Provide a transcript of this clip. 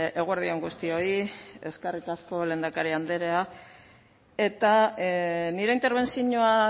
eguerdi on guztioi eskerrik asko lehendakari andrea eta nire interbentzioa